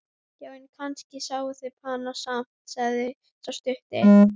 Já, en kannski sjá þeir hana samt, sagði sá stutti.